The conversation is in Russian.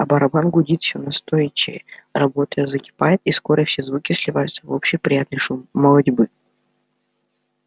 а барабан гудит все настойчивее работа закипает и скоро все звуки сливаются в общий приятный шум молотьбы